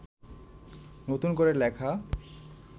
নতুন করে লেখা